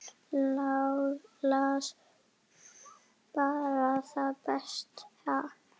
Las bara það besta.